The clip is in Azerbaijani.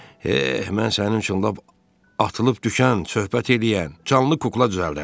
Eh, mən sənin üçün lap atılıb düşən, söhbət eləyən canlı kukla düzəldərəm.